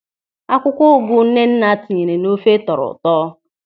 Akwụkwọ ụgụ Nnenna tinyere n'ofe tọrọ ụtọ.